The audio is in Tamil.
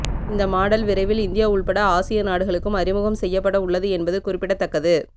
இந்த மாடல் விரைவில் இந்தியா உள்பட ஆசிய நாடுகளுக்கும் அறிமுகம் செய்யப்பட உள்ளது என்பது குறிப்பிடத்தக்கது